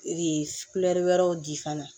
Ee wɛrɛw di fana